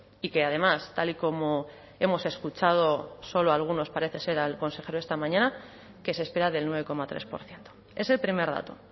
y que además tal y como hemos escuchado solo algunos parece ser al consejero esta mañana que se espera del nueve coma tres por ciento ese el primer dato